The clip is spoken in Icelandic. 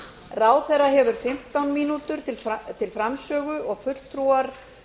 ráðherra hefur fimmtán mínútur til framsögu og fulltrúar